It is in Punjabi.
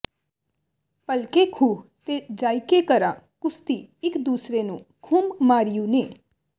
ਭਲਕੇ ਖੂਹ ਤੇ ਜਾਇਕੇ ਕਰਾਂ ਕੁਸਤੀ ਇੱਕ ਦੂਸਰੀ ਨੂੰ ਖੁਮ ਮਾਰਿਉ ਨੇ